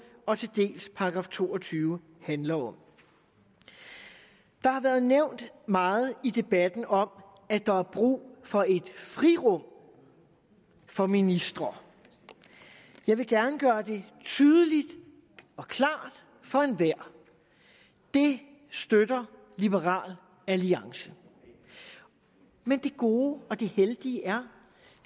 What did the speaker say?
og til dels § to og tyve handler om der har været nævnt meget i debatten om at der er brug for et frirum for ministre jeg vil gerne gøre det tydeligt og klart for enhver det støtter liberal alliance men det gode og det heldige er